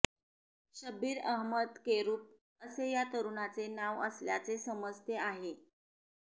शब्बीर अहमद केरुप असे या तरुणाचे नाव असल्याचे समजते आहे